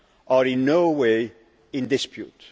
are in no way in dispute.